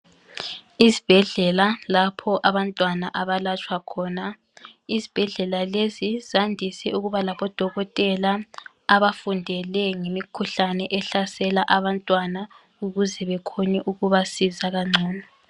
Izibhedlela lapho abantwana abalatshwa khona. Izibhedlela lezi zandise ukuba labodokotela abafundele ngemikhuhlane ehlasela abantwana ukuze bekhone ukubasiza kangcono.